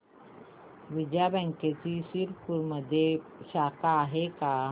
विजया बँकची शिरपूरमध्ये शाखा आहे का